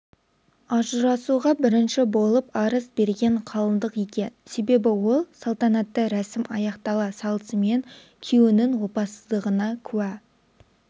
ажырасуға бірінші болып арыз берген қалыңдық екен себебі ол салтанатты рәсім аяқтала салысымен күйеуінің опасыздығына куә